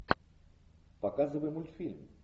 показывай мультфильм